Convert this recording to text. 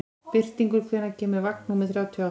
Birtingur, hvenær kemur vagn númer þrjátíu og átta?